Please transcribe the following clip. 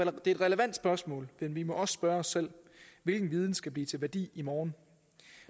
er et relevant spørgsmål men vi må også spørge os selv hvilken viden skal blive til værdi i morgen